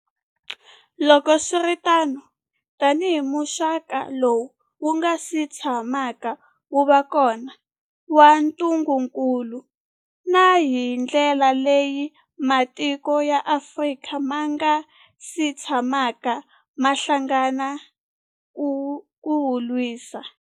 Loko swi ri tano, tanihi muxaka lowu wu nga si tshamaka wu va kona wa ntungukulu, na hi ndlela leyi matiko ya Afrika ma nga si tshamaka ma hlangana ku wu lwisa.